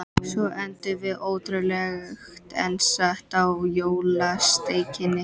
Svo endum við, ótrúlegt en satt, á jólasteikinni.